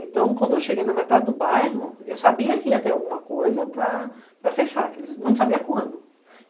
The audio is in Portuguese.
Então, quando eu cheguei na metade do bairro, eu sabia que ia ter alguma coisa para fechar, mas não sabia quando.